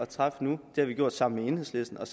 træffe nu det har vi gjort sammen med enhedslisten og